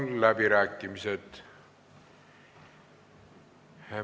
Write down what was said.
Avan läbirääkimised.